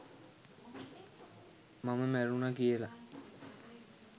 මම මැරුණා කියලා